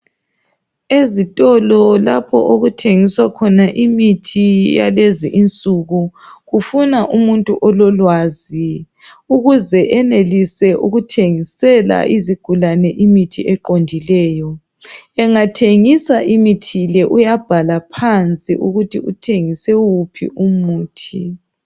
Ezitolo lapho okuthengiswa khona imithi yalezinsuku kufuna umuntu ololwazi ukuze enelise ukuthengisela izigulane imithi eqondileyo engathengisa imithi le uyabhala phansi ukuthi uthengise wuphi umuthi.